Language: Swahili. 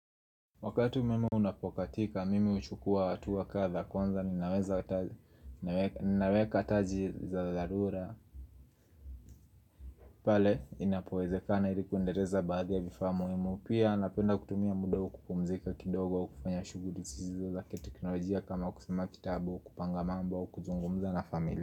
Wakati umeme unapokatika, mimi huchukua hatua kadha kwanza, ninaweza hata njia za dharura pale, inapowezekana ili kuendeleza baadhi ya vifaa muhimu, Pia, napenda kutumia muda huu kupumzika kidogo au kufanya shughuli zisizo zakiteknolojia kama kusoma kitabu, kupanga mambo, kuzungumza na familia.